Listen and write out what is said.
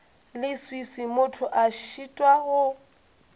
leswiswi motho a šitwa go